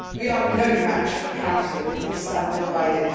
We are no match for Council if we stand divided.